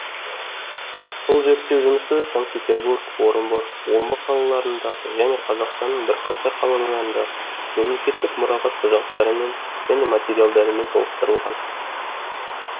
бұл зерттеу жұмысы санкт петербург орынбор омбы қалаларындағы және қазақстанның бірқатар қалаларындағы мемлекеттік мұрағат құжаттарымен және материалдарымен толықтырылған